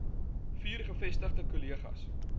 vier gevestigde kolleges